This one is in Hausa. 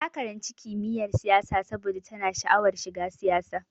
Ta karanci kimiyyar siyasa saboda tana sha'awar shiga siyasa.